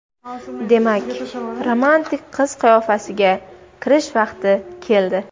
Demak, romantik qiz qiyofasiga kirish vaqti keldi.